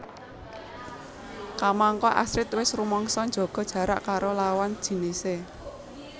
Kamangka Astrid wis rumangsa njaga jarak karo lawan jinisé